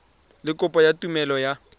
le kopo ya tumelelo ya